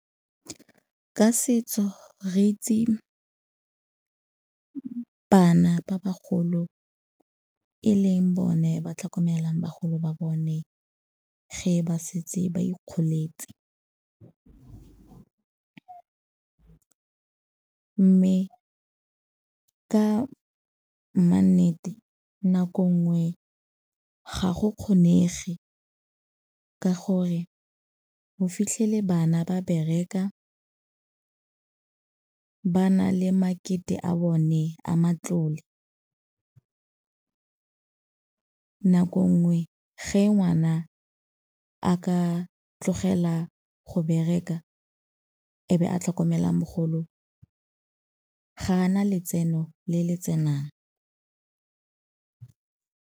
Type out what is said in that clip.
Ka setso re itse bana ba bagolo e leng bone ba tlhokomelang bagolo ba bone ge ba setse ba ikgoletse. Mme ka mannete nako nngwe ga go kgonege ka gore o fitlhele bana ba bereka ba na le makete a bone a matlole. Nako nngwe ge ngwana a ka tlogela go bereka e be a tlhokomela mogolo, ga a na letseno le le tsenang.